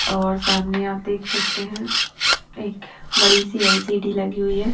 और सामने आप देख सकते है एक बड़ी सी एल_सी_डी लगी हुई है।